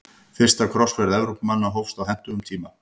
Fyrsta krossferð Evrópumanna hófst á hentugum tíma.